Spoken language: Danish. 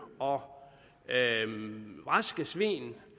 og raske svin